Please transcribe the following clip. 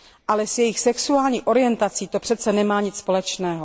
Ale s jejich sexuální orientací to přeci nemá nic společného.